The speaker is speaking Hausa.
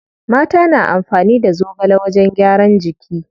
Mata na amfani da zogale wajen gyaran jiki.